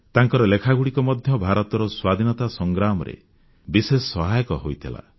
ତାଙ୍କର ଲେଖାଗୁଡ଼ିକ ମଧ୍ୟ ଭାରତର ସ୍ୱାଧୀନତା ସଂଗ୍ରାମରେ ବିଶେଷ ସହାୟକ ହୋଇଥିଲା